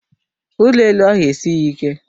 Ụlọ elu ahụ esighị ike.